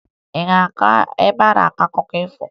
Ị ga-aga ebe a na-akọ akụkọ ifo?